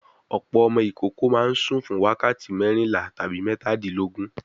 Ọ̀pọ̀ ọmọ ìkókó máa ń sùn fún wákàtí mẹ́rìnlá tabi mẹ́tàdílógún.